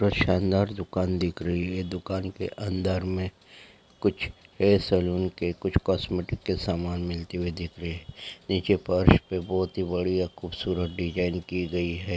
यह सांदार दुकान दिख रही है दुकान के अंदर में कुछ अ सैलून के कुछ कोसमटिक के सामान मिलते हुए दिख रहे हैं नीचे फर्स पे बहोत ही बड़िया खूबसूरत डिजाइन की गई है|